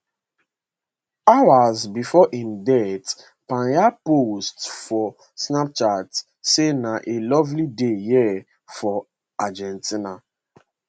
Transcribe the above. hours before im death payne post for snapchat say na a lovely day here for argentina